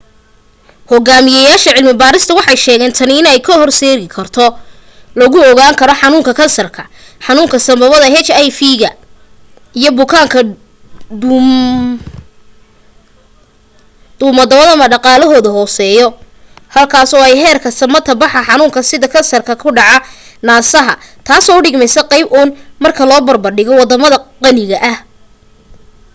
hogaamiyaasha cilmi barista waxay sheegen tani in ay hor seedi karto lagu ogaan karo xanuunka kansarka xanuunka sanbabada hiv ga iyo bukaanada duumadawadama dhaqaalahooda hooseya halkaas oo ay heerka samata baxa xanuunada sida kansarka ku dhaca nasaha taaso u dhigmeysa qeyb un marka loo barbar dhigo wadamada qaniga ah